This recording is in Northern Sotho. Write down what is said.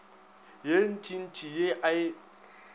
ye ntšintši ye a e